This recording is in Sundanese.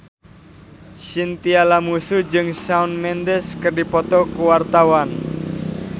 Chintya Lamusu jeung Shawn Mendes keur dipoto ku wartawan